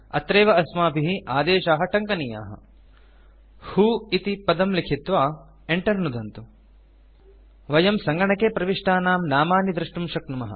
अत्रैव अस्माभिः आदेशाः टङ्कनीयाः व्हो इति पदं लिखित्वा Enter नुदन्तु वयं सङ्गणके प्रविष्टानां नामानि द्रष्टुं शक्नुमः